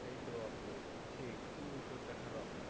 এইতো আপু আছি একটু শরীরটা খারাপ